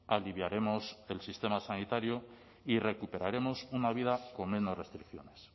aliviaremos el sistema sanitario y recuperaremos una vida con menos restricciones